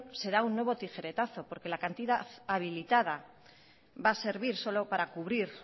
se da un nuevo tijeretazo porque la cantidad habilitada va a servir solo para cubrir